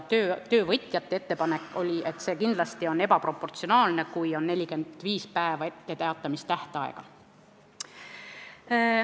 Töövõtjate arusaam oli, et kindlasti on ebaproportsionaalne, kui etteteatamise tähtaeg on 45 päeva.